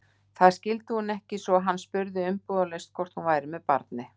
Það skildi hún ekki, svo hann spurði umbúðalaust hvort hún væri með barni.